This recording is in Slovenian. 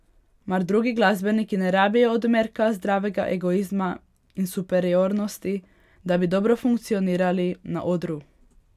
Mar drugi glasbeniki ne rabijo odmerka zdravega egoizma in superiornosti, da bi dobro funkcionirali na odru?